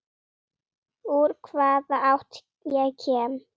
Úr hvaða átt ég kem.